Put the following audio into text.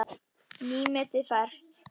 Nýmetið ferskt.